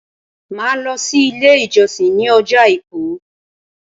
Màá lo sí Ilé ìjọsìn ní ọjọ́ Àìkú